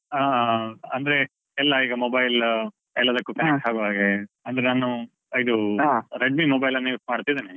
ಆ ಅಂದ್ರೆ ಎಲ್ಲಾ ಈಗ mobile . ಎಲ್ಲದಕ್ಕೂ connect ಆಗುವ ಹಾಗೆ ಅಂದ್ರೆ ನಾನು. Redmi mobile ಅನ್ನು use ಮಾಡ್ತಿದ್ದೇನೆ.